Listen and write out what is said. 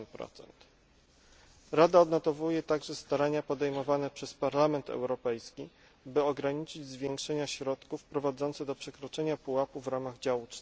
8. Rada odnotowuje także starania podejmowane przez Parlament Europejski, by ograniczyć zwiększenia środków prowadzące do przekroczenia pułapu w ramach działu